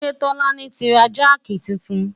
ṣé tọ́lání ti ra jáàkì titun?